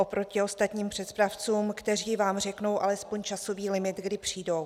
Oproti ostatním přepravcům, kteří vám řeknou alespoň časový limit, kdy přijdou.